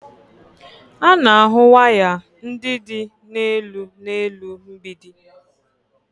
A na-ahụ waya ndị dị n'elu n'elu mgbidi